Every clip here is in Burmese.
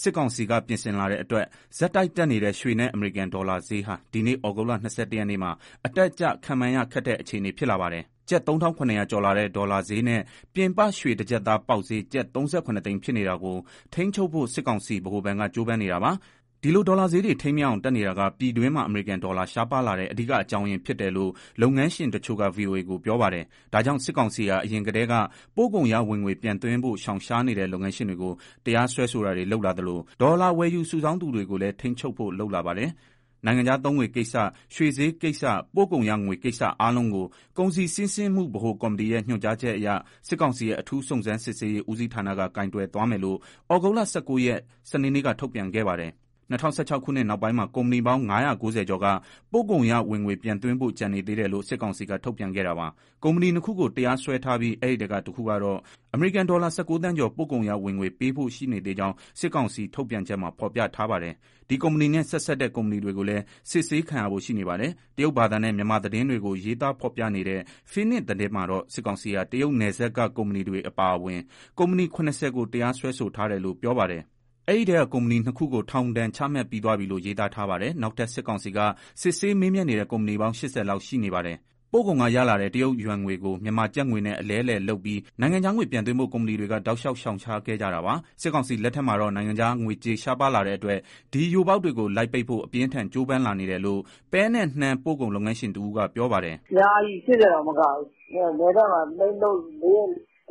စစ်ကောင်စီက ပြင်ဆင်လာတဲ့အတွက် ဆက်တိုက်တက်နေတဲ့ ရွှေနဲ့ အမေရိကန် ဒေါ်လာစျေးဟာ ဒီနေ့ သြဂုတ်လ ၂၁ ရက်နေ့မှာ အတက်အကျ ခန့်မှန်းရခက်တဲ့ အခြေအနေ ဖြစ်လာပါတယ်။ ကျပ် ၃၇၀၀ ကျော်လာတဲ့ ဒေါ်လာစျေးနဲ့ ပြင်ပ ရွှေတကျပ်သား ပေါက်စျေး ကျပ် ၃၇ သိန်း ဖြစ်နေတာကို ထိန်းချုပ်ဖို့ စစ်ကောင်စီ ဗဟိုဘဏ်က ကြိုးပမ်းနေတာပါ။ ဒီလို ဒေါ်လာစျေးတွေ ထိန်းမရအောင် တက်နေတာက ပြည်တွင်းမှာ အမေရိကန်ဒေါ်လာ ရှားပါးလာတဲ့ အဓိက အကြောင်းရင်း ဖြစ်တယ်လို့ လုပ်ငန်းရှင်တချို့က ဗွီအိုအေကို ပြောပါတယ်။ ဒါကြောင့် စစ်ကောင်စီဟာ အရင်ကတည်းက ပို့ကုန်ရဝင်ငွေ ပြန်သွင်းဖို့ ရှောင်ရှားနေတဲ့ လုပ်ငန်းရှင်တွေကို တရားစွဲတာတွေ လုပ်လာသလို၊ ဒေါ်လာဝယ်ယူ စုဆောင်းသူတွေကိုလည်း ထိန်းချုပ်ဖို့ လုပ်လာပါတယ်။ နိုင်ငံခြားသုံးငွေကိစ္စ၊ ရွှေစျေးကိစ္စ၊ ပို့ကုန်ရငွေ ကိစ္စတွေ အားလုံးကို ကုန်စည်စီးဆင်းမှု ဗဟိုကော်မတီရဲ့ ညွှန်ကြားချက်အရ စစ်ကောင်စီရဲ့ အထူး စုံစမ်းစစ်ဆေးရေး ဦးစီးဌာနက ကိုင်တွယ်သွားမယ်လို့ သြဂုတ်လ ၁၉ ရက်၊ စနေနေ့က ထုတ်ပြန်ခဲ့ပါတယ်။ ၂၀၁၆ ခုနှစ် နောက်ပိုင်းမှာ ကုမ္ပဏီပေါင်း ၅၉၀ ကျော်က ပို့ကုန်ရဝင်ငွေ ပြန်သွင်းဖို့ ကျန်နေသေးတယ်လို့ စစ်ကောင်စီက ထုတ်ပြန်ခဲ့တာပါ။ ကုမ္ပဏီ ၂ ခုကို တရားစွဲထားပြီး အဲဒီထဲက တခုကတော့ အမေရိကန်ဒေါ်လာ ၁၉ သန်းကျော် ပို့ကုန်ရဝင်ငွေ ပေးဖို့ရှိနေသေးကြောင်း စစ်ကောင်စီထုတ်ပြန်ချက်မှာ ဖော်ပြထားပါတယ်။ ဒီကုမ္ပဏီနဲ့ ဆက်စပ်တဲ့ ကုမ္ပဏီတွေလည်း စစ်ဆေးခံရဖို့ ရှိနေပါတယ်။ တရုတ်ဘာသာနဲ့ မြန်မာသတင်းတွေကို ရေးသား ဖော်ပြတဲ့နေတဲ့ Phoenix သတင်းမှာတော့ စစ်ကောင်စီဟာ တရုတ်နယ်စပ်က ကုမ္ပဏီတွေ အပါအဝင် ကုမ္ပဏီ ၇၀ ကို တရားစွဲထားတယ်လို့ ပြောပါတယ်။ အဲဒီအထဲက ကုမ္ပဏီ ၂ ခုကို ထောင်ဒဏ် ချမှတ်ပြီးသွားပြီလို့ ရေးသားထားပါတယ်။ နောက်ထပ် စစ်ကောင်စီက စစ်ဆေးမေးမြန်းနေတဲ့ ကုမ္ပဏီပေါင်း ၈၀ လောက် ရှိနေပါတယ်။ ပို့ကုန်က ရလာတဲ့ တရုတ်ယွမ်ငွေကို မြန်မာကျပ်ငွေနဲ့ အလဲအလှယ် လုပ်ပြီး နိုင်ငံခြားငွေ ပြန်သွင်းဖို့ ကုမ္ပဏီတွေက တောက်လျှောက် ရှောင်ရှားခဲ့ကြတာပါ။ စစ်ကောင်စီ လက်ထက်မှာတော့ နိုင်ငံခြားငွေကြေး ရှားပါးလာတဲ့အတွက် ဒီ ယိုပေါက်တွေကို လိုက်ပိတ်ဖို့ အပြင်းအထန် ကြိုးပမ်းလာနေတယ်လို့ ပဲနဲ့နှမ်း ပို့ကုန်လုပ်ငန်းရှင်တဦးက ပြောပါတယ်။ "အများကြီး။ ၈၀ တောင်မကဘူး။ နယ်စပ်မှာ အလုပ်လုပ်နေတဲ့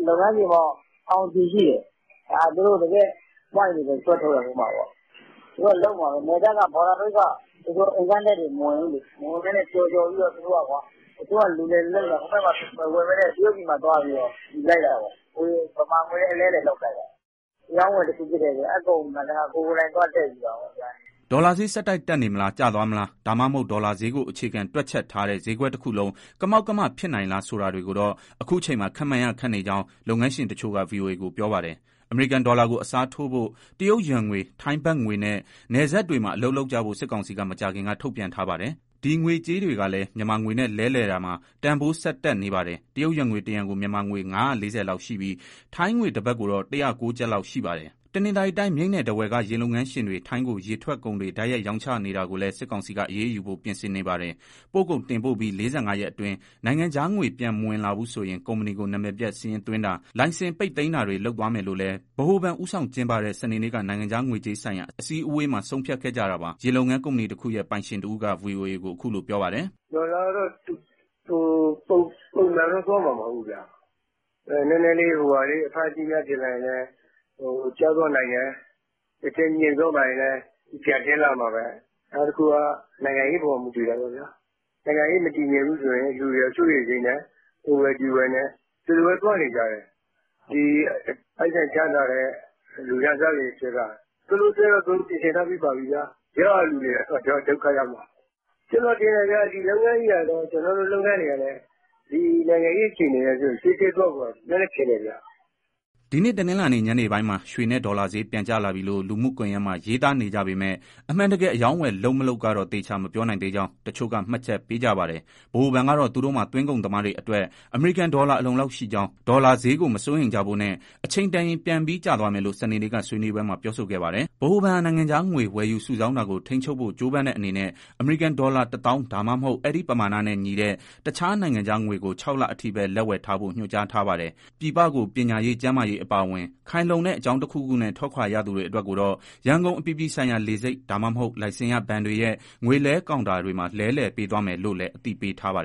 လုပ်ငန်းရှင်ပေါင်းက ထောင်ချီ ရှိတယ်။ အဲ့ဒါ သူတို့ တကယ့်ပွိုင်တွေပဲ ဆွဲထုတ်လိုက်တာ။ သူတို့ကတော့ လုပ်မှာပဲ။ နယ်စပ်က border trade က income tax တွေ မဝင်ဘူးလေ။ မဝင်ဘဲ ကျော်ကျော်ပြီးတော့ သူတို့က တချို့က လူလည်လုပ်တာပေါ့။ (ပို့ကုန်ရငွေ) မဝင်ဘဲ တရုတ်ပြည်မှာ သွားပြီးတော့ ယူလိုက်တာပေါ့။ မြန်မာငွေနဲ့ အလဲအလှယ် လုပ်ပစ်လိုက်တာ။ အရောင်းအဝယ် တခုဖြစ်တယ်ဆိုရင် အဲဒီကုမ္ပဏီမှာ ကိုယ်တိုင် သွားတက်ယူတာပေါ့။" ဒေါ်လာစျေး ဆက်တက်နေမလား၊ ကျသွားမလား။ ဒါမှမဟုတ် ဒေါ်လာစျေးကို အခြေခံ တွက်ချက်ထားတဲ့ စျေးကွက်တခုလုံး ကမောက်ကမ ဖြစ်နိုင်လား ဆိုတာကိုတော့ အခုအချိန်မှာ ခန့်မှန်းရခက်နေကြောင်း လုပ်ငန်းရှင်တချို့က ဗွီအိုအေကို ပြောပါတယ်။ အမေရိကန်ဒေါ်လာကို အစားထိုးဖို့ တရုတ်ယွမ်ငွေ၊ ထိုင်းဘတ်ငွေနဲ့ နယ်စပ်တွေမှာ အလုပ်လုပ်ကြဖို့ စစ်ကောင်စီက မကြာခင်က ထုတ်ပြန်ထားပါတယ်။ ဒီငွေကြေးတွေကလည်း မြန်မာငွေနဲ့ လဲလှယ်တာမှာ တန်ဖိုးဆက်တက်နေပါတယ်။ တရုတ်ငွေတယွမ်ကို မြန်မာငွေ ၅၄၀ ကျပ်လောက် ရှိပြီး ထိုင်းငွေ တဘတ်ကိုတော့ ၁၀၉ ကျပ်လောက် ရှိပါတယ်။ တနင်္သာရီတိုင်း မြိတ်နဲ့ ထားဝယ်က ရေလုပ်ငန်းရှင်တွေ ထိုင်းကို ရေထွက်ကုန်တွေ တိုက်ရိုက်ရောင်းချနေတာကိုလည်း စစ်ကောင်စီက အရေးယူဖို့ ပြင်ဆင်နေပါတယ်။ ပို့ကုန်တင်ပို့ပြီး ၄၅ ရက်အတွင်း နိုင်ငံခြားငွေ ပြန်မဝင်လာဘူးဆိုရင် ကုမ္ပဏီကို နာမည်ပျက် စာရင်းသွင်းတာ၊ လိုင်စင် ပိတ်သိမ်းတာတွေ လုပ်သွားမယ်လို့လည်း ဗဟိုဘဏ် ဦးဆောင်ကျင်းပတဲ့ စနေနေ့က နိုင်ငံခြားငွေကြေးဆိုင်ရာ အစည်းအဝေးမှာ ဆုံးဖြတ်ခဲ့ကြတာပါ။ ရေလုပ်ငန်း ကုမ္ပဏီတခုရဲ့ ပိုင်ရှင်တဦးက ဗွီအိုအေကို အခုလို ပြောပါတယ်။ " ဒေါ်လာကတော့ ပုံမှန်တော့ သွားမှာ မဟုတ်ဘူးဗျ။ နည်းနည်းလေး ဟိုဟာလေး ထဖြစ်လိုက်ရင်လည်း ကျသွားနိုင်တယ်။ တကြိမ် ငြိမ်သွားပြီးရင်လည်း ပြန်တက်လာမှာပဲ။ နောက်တခုက နိုင်ငံရေးအပေါ်မှာလည်း မူတည်တာပေါ့။ နိုင်ငံရေး မတည်ငြိမ်ဘူးဆိုရင် လူတွေက စိုးရိမ်စိတ်နဲ့ ဟိုဝယ်၊ သည်ဝယ်နဲ့ သွားနေကြတာပဲ။ ပိုက်ဆံချမ်းသာတဲ့ လူတန်းစားတွေအတွက်က သူတို့အတွက်တော့ သူတို့ ပြင်ဆင်ထားပြီးပါပြီဗျာ။ ကြားက သူတွေသာ ဒုက္ခရောက်မှာ။ ကျနော် ထင်ပါတယ်။ ကျနော်တို့ လုပ်ငန်းတွေကလည်း ဒီနိုင်ငံရေး အခြေအနေနဲ့ ရှေ့ဆက်သွားဖို့က နည်းနည်းခက်တယ်ဗျ။" ဒီနေ့ တနင်္လာနေ့ ညနေပိုင်းမှာ ရွှေနဲ့ ဒေါ်လာစျေး ပြန်ကျလာပြီလို့ လူမှုကွန်ရက်မှာ ရေးသားနေကြပေမဲ့ အမှန်တကယ် အရောင်းအဝယ် လုပ်၊ မလုပ်ကတော့ သေချာ မပြောနိုင်သေးကြောင်း တချို့က မှတ်ချက်ပေးကြပါတယ်။ ဗဟိုဘဏ်ကတော့ သူတို့မှာ သွင်းကုန်သမားတွေ အတွက် အမေရိကန်ဒေါ်လာ အလုံအလောက် ရှိကြောင်း၊ ဒေါ်လာစျေးကို မစိုးရိမ်ကြဖို့နဲ့ အချိန်တန်ရင် ပြန်ပြီး ကျသွားမယ်လို့ စနေနေ့က ဆွေးနွေးပွဲမှာ ပြောဆိုခဲ့ပါတယ်။ ဗဟိုဘဏ်ဟာ နိုင်ငံခြားငွေ ဝယ်ယူ၊ စုဆောင်းတာတွေကို ထိန်းချုပ်ဖို့ ကြိုးပမ်းတဲ့အနေနဲ့ အမေရိကန်ဒေါ်လာ ၁၀,၀၀၀ ဒါမှမဟုတ် အဲဒီ ပမာဏနဲ့ညီတဲ့ တခြားနိုင်ငံခြားငွေကို ၆ လအထိပဲ လက်ဝယ်ထားဖို့ ညွှန်ကြားထားပါတယ်။ ပြည်ပကို ပညာရေး၊ ကျန်းမာရေး အပါအဝင် ခိုင်လုံတဲ့ အကြောင်းတခုခုနဲ့ ထွက်ခွာရသူတွေ အတွက်ကိုတော့ ရန်ကုန် အပြည်ပြည်ဆိုင်ရာ လေဆိပ် ဒါမှမဟုတ် လိုင်စင်ရ ဘဏ်တွေရဲ့ ငွေလဲကောင်တာတွေမှာ လဲလှယ်ပေးသွားမယ်လို့လည်း အသိပေးထားပါတယ်